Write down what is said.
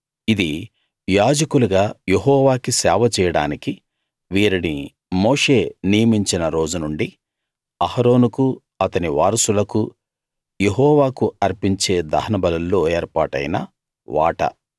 ఇది యాజకులుగా యెహోవాకి సేవ చేయడానికి వీరిని మోషే నియమించిన రోజు నుండి అహరోనుకూ అతని వారసులకూ యెహోవాకు అర్పించే దహనబలుల్లో ఏర్పాటైన వాటా